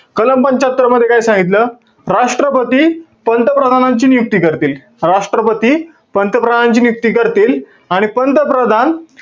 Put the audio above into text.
कलम पंच्यात्तर मध्ये काय सांगितलं? राष्ट्रपती, पंतप्रधानांची नियुक्ती करतील. राष्ट्रपती, पंतप्रधानांची नियुक्ती करतील. आणि पंतप्रधान,